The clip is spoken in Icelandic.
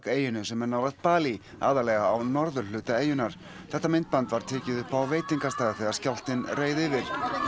eyjunni sem er nálægt Balí aðallega á norðurhluta eyjunnar þetta myndband var tekið upp á veitingastað þegar skjálftinn reið yfir